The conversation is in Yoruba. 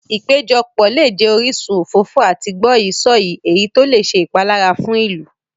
Ìpéjọpọ̀ lè jẹ orísun òfófó àti gbọ́yìí-sọ̀yìí, èyí tó lè ṣe ìpalára fún ìlú.